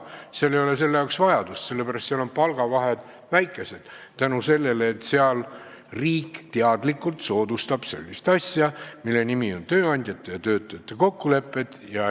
Seal ei ole selleks vajadust, sest seal on palgavahed väikesed tänu sellele, et riik teadlikult soodustab sellist asja, mille nimi on tööandjate ja töötajate kokkulepped.